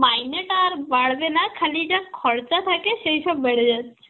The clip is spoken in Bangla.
মাইনেটা আর বাড়বে না, খালি এইটা খরচা থাকে সেইসব বেড়ে যাচ্ছে.